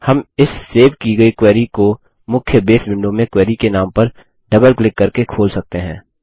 हम इस सेव की गयी क्वेरी को मुख्य बेस विंडो में क्वेरी के नाम पर डबल क्लिक करके खोल सकते हैं